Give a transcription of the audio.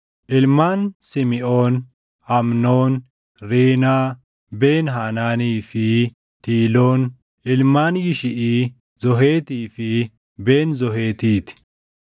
Ilmaan Simiʼoon: Amnoon, Riinaa, Ben-Haanaanii fi Tiiloon. Ilmaan Yishiʼii: Zoheetii fi Ben-Zoheetii ti.